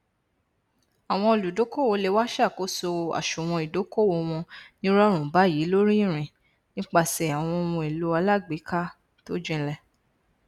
àwọn olùdókòwò le wá ṣàkóso àsùwọn ìdókòwò wọn nírọrùn báyìí lóríìrìn nípasẹ àwọn ohunèlò alágbèéká tó jinlẹ